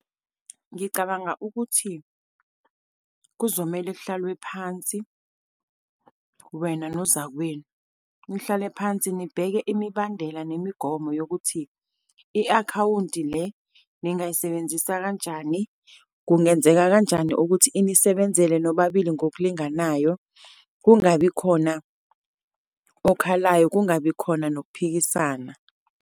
Ngicabanga ukuthi kuzomele kuhlalwe phansi, wena nozakwenu, nihlale phansi, nibeke imibandela nemigomo yokuthi i-akhawunti le ningayisebenzisa kanjani. Kungenzeka kanjani ukuthi inisebenzele nobabili ngokulinganayo, kungabikhona okhalayo, kungabi khona nokuphikisana.